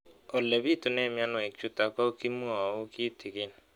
Ole pitune mionwek chutok ko kimwau kitig'�n